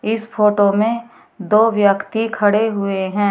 इस फोटो में दो व्यक्ति खड़े हुए हैं।